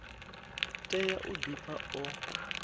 tea u di pfa o